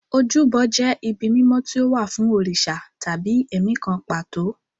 Ojúbọ jẹ́ ibi mímọ́ tí ó wà fún òrìṣà tàbí ẹ̀mí kan pàtó.